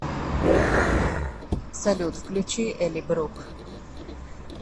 салют включи элли брук